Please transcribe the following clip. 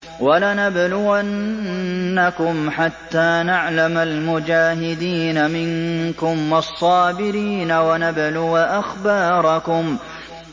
وَلَنَبْلُوَنَّكُمْ حَتَّىٰ نَعْلَمَ الْمُجَاهِدِينَ مِنكُمْ وَالصَّابِرِينَ وَنَبْلُوَ أَخْبَارَكُمْ